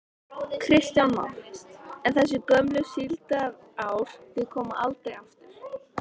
Kristján Már: En þessi gömlu síldarár, þau koma aldrei aftur?